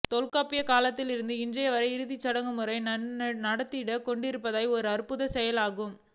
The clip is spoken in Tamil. தொல்காப்பியர் காலத்திலிருந்து இற்றைவரை இச் சடங்குமுறை நடந்தேறிக் கொண்டிருப்பது ஓர் அற்புதச் செயலெனலாம்